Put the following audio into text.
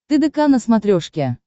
тдк на смотрешке